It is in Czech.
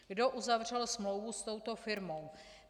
Kdo uzavřel smlouvu s touto firmou?